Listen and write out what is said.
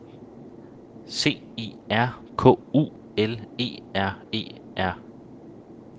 C I R K U L E R E R